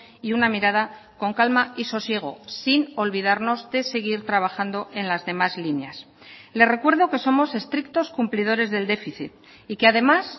y una mirada con calma y sosiego sin olvidarnos de seguir trabajando en las demás líneas le recuerdo que somos estrictos cumplidores del déficit y que además